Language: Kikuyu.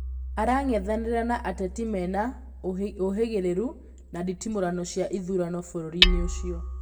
Arang'ethanĩra na ateti mena ũhĩgĩrĩru na nditimũrano cia ithurano bũrũri-inĩũcio